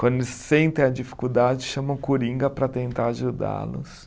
Quando eles sentem a dificuldade, chamam o coringa para tentar ajudá-los.